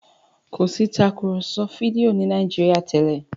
kọ sí Tàkùrọ̀sọ fídíò ni Nàìjíríà tèlé